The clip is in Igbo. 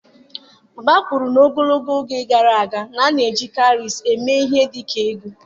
Baba kwuru na ogologo oge gara aga, a na-eji kawrịsị eme ihe dị ka ego.